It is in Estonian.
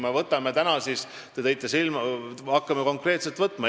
Hakkame siin järjest konkreetselt võtma.